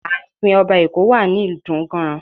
Ààfin Ọba Eko wà ní Idunganran